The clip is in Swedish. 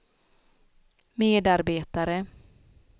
medarbetare